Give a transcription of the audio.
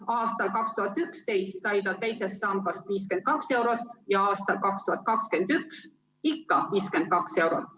Aastal 2011 sai ta teisest sambast 52 eurot ja aastal 2021 ikka 52 eurot.